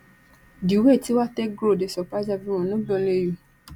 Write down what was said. di way tiwa take grow dey surprise everyone no be only you